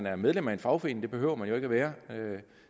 er medlem af en fagforening det behøver man jo ikke at være